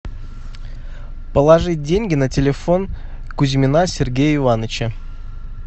положить деньги на телефон кузьмина сергея ивановича